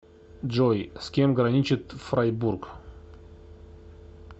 джой с кем граничит фрайбург